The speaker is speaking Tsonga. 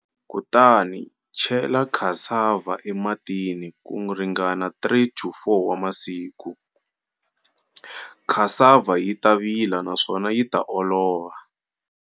Kutani, chela cassava ematini kuringana 3-4 wa masiku, cassava yita vila naswona yita olova.